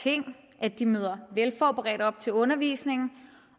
ting at de møder velforberedt op til undervisningen